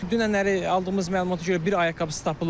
Dünənləri aldığımız məlumata görə bir ayaqqabısı tapılıb.